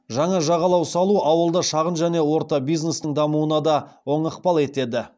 жаңа жағалау салу ауылда шағын және орта бизнестің дамуына да оң ықпал етеді